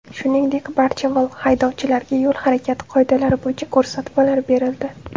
Shuningdek, barcha haydovchilarga yo‘l harakati qoidalari bo‘yicha ko‘rsatmalar berildi.